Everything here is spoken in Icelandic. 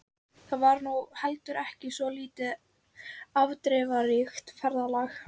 Það var nú heldur ekki svo lítið afdrifaríkt ferðalag.